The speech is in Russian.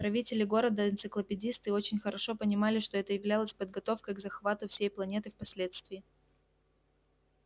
правители города энциклопедисты очень хорошо понимали что это являлось подготовкой к захвату всей планеты впоследствии